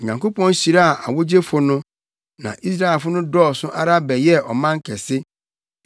Onyankopɔn hyiraa awogyefo no. Na Israelfo no dɔɔso ara bɛyɛɛ ɔman kɛse.